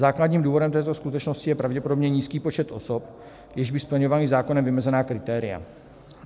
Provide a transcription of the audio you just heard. Základním důvodem této skutečnosti je pravděpodobně nízký počet osob, jež by splňovaly zákonem vymezená kritéria.